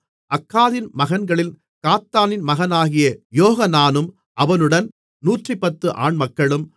அக்காதின் மகன்களில் காத்தானின் மகனாகிய யோகனானும் அவனுடன் 110 ஆண்மக்களும்